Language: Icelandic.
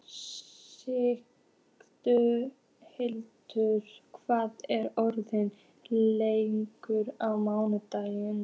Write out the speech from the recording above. Signhildur, hvað er opið lengi á mánudaginn?